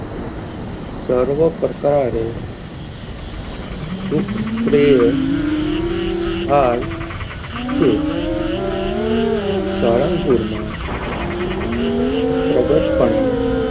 save પ્રકારે સુખ શ્રેય થાય છે સાળંગપુર માં પ્રગટ પને,